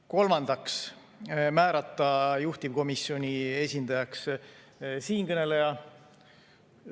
Kolmandaks, määrata juhtivkomisjoni esindajaks siinkõneleja.